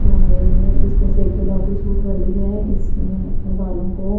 और जिसमे से एक गुलाबी सूट वाली है इसने अपने बालों को --